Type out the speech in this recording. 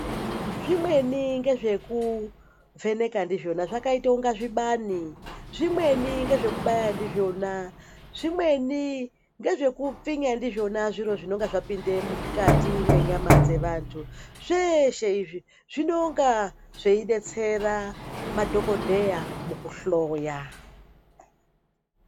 Zvimweni ngezvekuvheneka ndizvona zvakaita inga zvibani zvimweni ngezvekubaya ndizvona. Zvimweni ngezvekupfinya ndizvona zviro zvinonga zvapinde mukati mwenyama dzevantu. Zveshe izvi zvinonga zveidetsera madhokodheya mukuhloya.